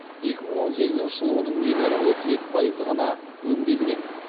екі мың он сегізінші жылы оның небәрі отыз екі пайызы ғана өңделген